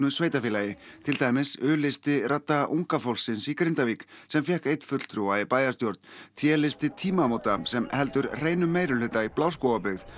sveitarfélagi til dæmis u listi radda unga fólksins í Grindavík sem fékk einn fulltrúa í bæjarstjórn t listi tímamóta sem heldur hreinum meirihluta í Bláskógabyggð